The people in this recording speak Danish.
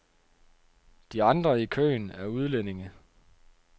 De andre i køen er udlændinge.